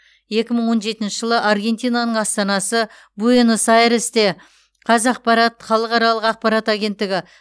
екі мың он жетінші жылы аргентинаның астанасы буэнос айресте қазақпарат халықаралық ақпарат агенттігі